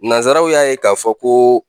Nanzaraw y'a ye k'a fɔ ko